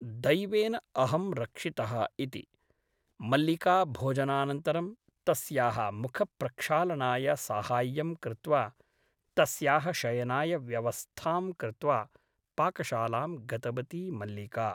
दैवेन अहं रक्षितः इति । मल्लिका भोजनानन्तरं तस्याः मुखप्रक्षालनाय साहाय्यं कृत्वा तस्याः शयनाय व्यवस्थां कृत्वा पाकशालां गतवती मल्लिका ।